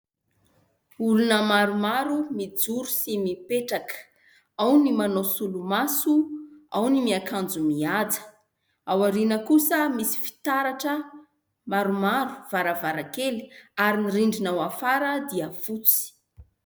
Olona maromaro mijoro sy mipetraka, ao ny manao solomaso, ao ny miakanjo mihaja, ao aoriana kosa misy fitaratra maromaro varavarankely ary ny rindrina ao afara dia fotsy.